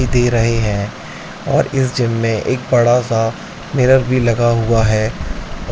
दे रहे हैं और इस जिम मे एक बड़ा सा मिरर भी लगा हुआ है।